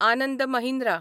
Anand Mahindra